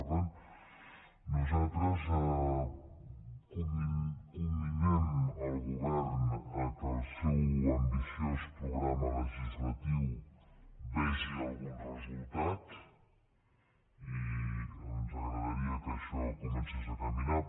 per tant nosaltres comminem el govern que el seu ambiciós programa legislatiu vegi algun resultat i ens agradaria que això comencés a caminar